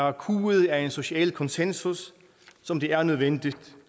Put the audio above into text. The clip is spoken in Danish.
er kuet af en social konsensus som det er nødvendigt